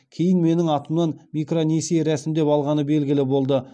кейін менің атымнан микронесие рәсімдеп алғаны белгілі болды